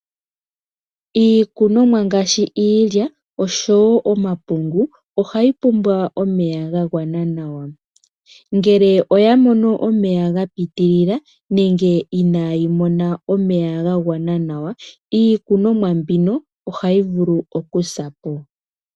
Iikunomwa ngaashi iilya osho woo omapungu , ohayi pumbwa omeya ga gwana nawa . Ngele oya mono omeya ga pitilila nenge inaa yi mona omeya ga gwana nawa , iikunomwa mbino ohayi vulu oku sa po .